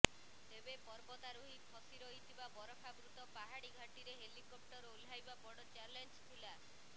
ତେବେ ପର୍ବତାରୋହୀ ଫସିରହିଥିବା ବରଫାବୃତ ପାହାଡ଼ି ଘାଟିରେ ହେଲିକପ୍ଟର ଓହ୍ଲାଇବା ବଡ଼ ଚ୍ୟାଲେଞ୍ଜ ଥିଲା